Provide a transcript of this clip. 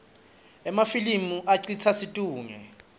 emafilimi acitsa situngle